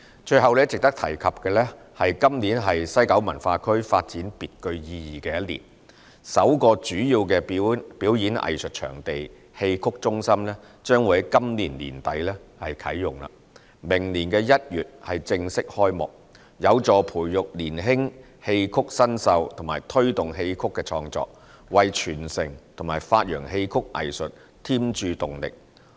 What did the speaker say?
最後值得提及的是，今年是西九文化區發展別具意義的一年，首個主要表演藝術場地——戲曲中心將於今年年底啟用，明年1月正式開幕，有助培育年輕戲曲新秀和推動戲曲創作，為傳承和發揚戲曲藝術添注動力。